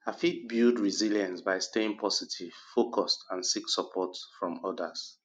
i fit build resilience by staying positive focused and seek support from odas